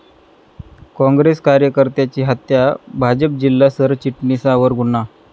काँग्रेस कार्यकर्त्याची हत्या, भाजप जिल्हा सरचिटणीसावर गुन्हा